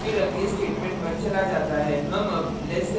हम अब less than operator का अध्ययन करेंगे